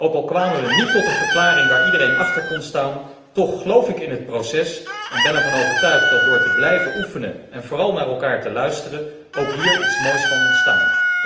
Ook al kwamen we niet tot een verklaring waar iedereen achter kon staan, toch geloof ik in het proces en ben ervan overtuigd dat door te blijven oefenen en vooral naar elkaar te luisteren ook hier iets moois kan ontstaan.